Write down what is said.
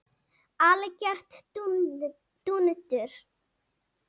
Algjört dúndur!